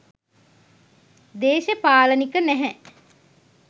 දේශපාලනික නැහැ.